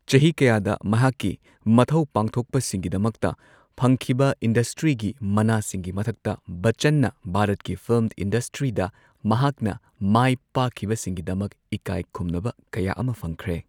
ꯆꯍꯤ ꯀꯌꯥꯗ ꯃꯍꯥꯛꯀꯤ ꯃꯊꯧ ꯄꯥꯡꯊꯣꯛꯄꯁꯤꯡꯒꯤꯗꯃꯛꯇ ꯐꯪꯈꯤꯕ ꯏꯟꯗꯁꯇ꯭ꯔꯤꯒꯤ ꯃꯅꯥꯁꯤꯡꯒꯤ ꯃꯊꯛꯇ, ꯕꯆꯆꯟꯅ ꯚꯥꯔꯠꯀꯤ ꯐꯤꯜꯝ ꯏꯟꯗꯁꯇ꯭ꯔꯤꯗ ꯃꯍꯥꯛꯅ ꯃꯥꯏ ꯄꯥꯛꯈꯤꯕꯁꯤꯡꯒꯤꯗꯃꯛ ꯏꯀꯥꯏ ꯈꯨꯝꯅꯕ ꯀꯌꯥ ꯑꯃ ꯐꯪꯈ꯭ꯔꯦ꯫